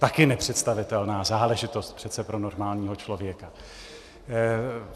Také nepředstavitelná záležitost přece pro normálního člověka.